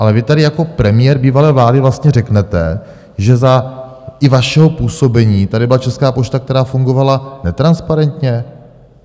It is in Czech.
Ale vy tady jako premiér bývalé vlády vlastně řeknete, že za i vašeho působení tady byla Česká pošta, která fungovala netransparentně?